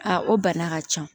A o bana ka can